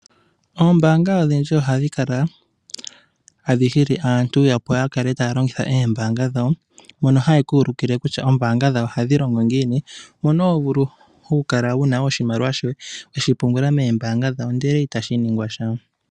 Oombaanga odhindji ohadhi kala tadhi hili aantu, opo ya kale taya longitha oombaanga dhawo mono haye ku ulikile kutya oombaanga dhawo ohadhi longo ngiini. Oto vulu okupungula oshimaliwa shoye moombaanga dhawo ndele itashi ningwa sha.